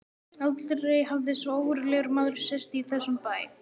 Aldrei hafði svo ógurlegur maður sést í þessum bæ.